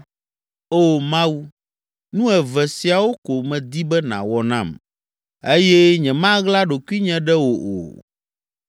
“O Mawu, nu eve siawo ko medi be nàwɔ nam, eye nyemaɣla ɖokuinye ɖe wò o.